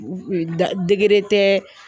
degere tɛ